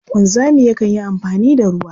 Wanzami yakan yi amfani da ruwa.